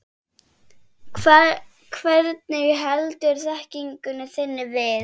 Hvernig heldurðu þekkingu þinni við?